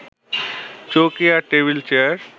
চৌকি আর table chair